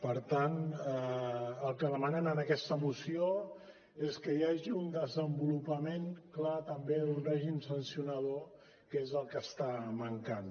per tant el que demanem en aquesta moció és que hi hagi un desenvolupament clar també d’un règim sancionador que és el que està mancant